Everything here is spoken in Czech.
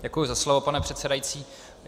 Děkuji za slovo, pane předsedající.